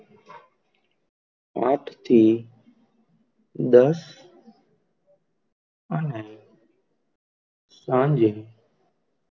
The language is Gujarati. આઠ થી દસ અને સાંજે,